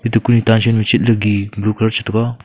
tuku e tachan shetlaki bukor chitaro.